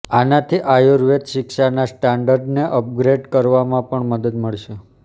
આનાથી આયુર્વેદ શિક્ષાના સ્ટાન્ડર્ડને અપગ્રેડ કરવામાં પણ મદદ મળશે